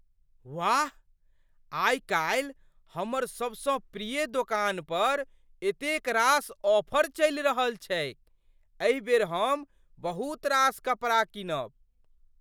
वाह! आइकाल्हि हमर सबसँ प्रिय दोकान पर एतेक रास ऑफर चलि रहल छैक। एहि बेर हम बहुत रास कपड़ा कीनब।